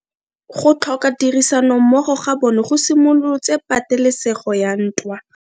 Go tlhoka tirsanommogo ga bone go simolotse patelesego ya ntwa.